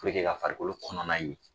ka farikolo kɔnɔna ye.